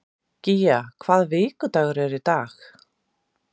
Gía, hvaða vikudagur er í dag?